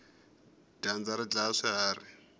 dyandza ri dlaya swiharhi